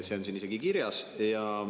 See on siin isegi kirjas.